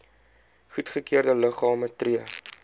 goedgekeurde liggame tree